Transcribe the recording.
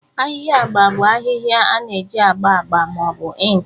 Ahịhịa agba bụ ahịhịa a na-eji agba agba ma ọ bụ ink